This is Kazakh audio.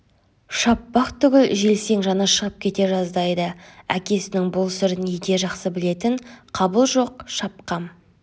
шаппақ түгіл желсең жаны шығып кете жаздайды әкесінің бұл сырын ете жақсы білетін қабыл жоқ шапқам